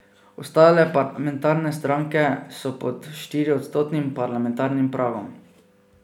Ostale parlamentarne stranke so pod štiriodstotnim parlamentarnim pragom.